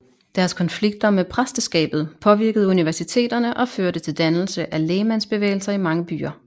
Deres konflikter med præsteskabet påvirkede universiteterne og førte til dannelse af lægmandsbevægelser i mange byer